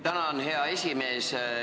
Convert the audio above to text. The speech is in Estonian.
Tänan, hea esimees!